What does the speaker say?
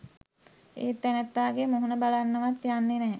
ඒ තැනැත්තාගේ මුහුණ බලන්නවත් යන්නෙ නැහැ.